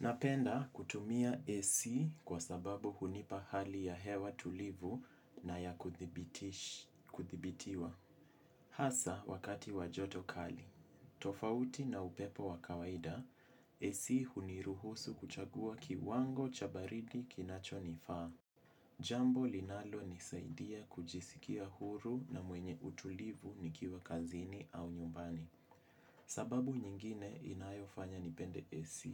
Napenda kutumia AC kwa sababu hunipa hali ya hewa tulivu na ya kuthibitiwa. Hasa wakati wa joto kali. Tofauti na upepo wakawaida, AC huniruhusu kuchagua kiwango chabaridi kinacho nifaa. Jambo linalo nisaidia kujisikia huru na mwenye utulivu nikiwa kazini au nyumbani. Sababu nyingine inayo fanya nipende AC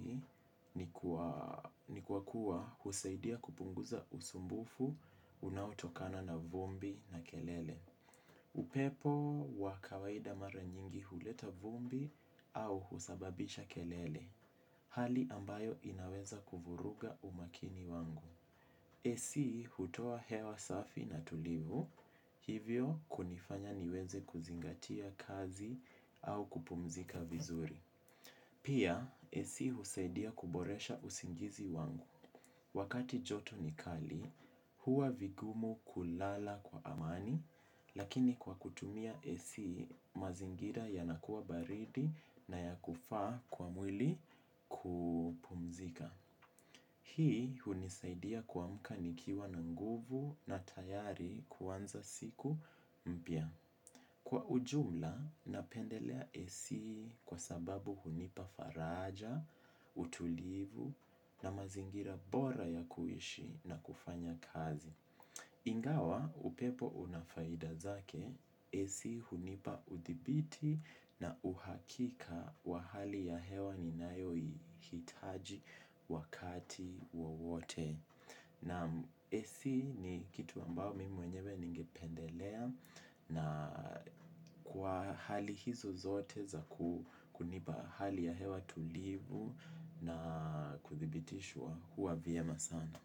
ni kwa kuwa husaidia kupunguza usumbufu unaotokana na vumbi na kelele. Upepo wa kawaida mara nyingi huleta vumbu au husababisha kelele. Hali ambayo inaweza kuvuruga umakini wangu. AC hutoa hewa safi na tulivu, hivyo kunifanya niweze kuzingatia kazi au kupumzika vizuri. Pia, AC husaidia kuboresha usingizi wangu. Wakati joto ni kali, huwa vigumu kulala kwa amani, lakini kwa kutumia AC mazingira ya nakuwa baridi na ya kufaa kwa mwili kupumzika. Hii hunisaidia kuamka nikiwa na nguvu na tayari kuanza siku mpya. Kwa ujumla, napendelea AC kwa sababu hunipa faraja, utulivu na mazingira bora ya kuishi na kufanya kazi. Ingawa upepo unafaida zake, AC hunipa uthibiti na uhakika wa hali ya hewa ni nayo hitaji wakati wowote. Naam AC ni kitu ambayo mimi mwenyewe ninge pendelea na kwa hali hizo zote za kunipa hali ya hewa tulivu na kuthibitishwa huwa vyema sana.